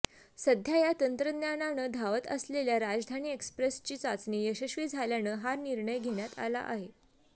सध्या या तंत्रज्ञानानं धावत असलेल्या राजधानी एक्स्प्रेसची चाचणी यशस्वी झाल्यानं हा निर्णय घेण्यात आला आहे